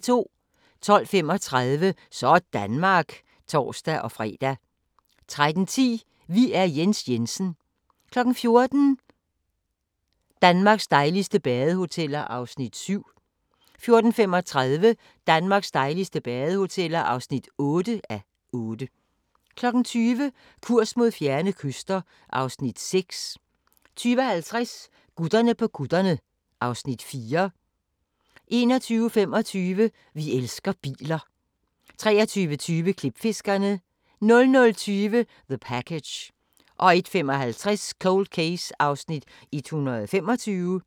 12:35: Sådanmark (tor-fre) 13:10: Vi er Jens Jensen 14:00: Danmarks dejligste badehoteller (7:8) 14:35: Danmarks dejligste badehoteller (8:8) 20:00: Kurs mod fjerne kyster (Afs. 6) 20:50: Gutterne på kutterne (Afs. 4) 21:25: Vi elsker biler 23:20: Klipfiskerne 00:20: The Package 01:55: Cold Case (125:156)